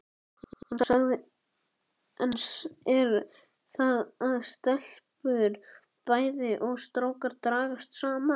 Enn er það að stelpur bæði og strákar dragast saman.